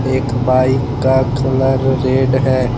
एक बाइक का colour red है।